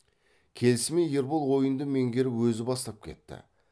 келісімен ербол ойынды меңгеріп өзі бастап кетті